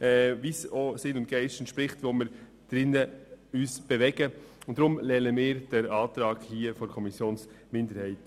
Sie entspricht auch dem Sinn und Geist der Organisation unseres Zusammenlebens.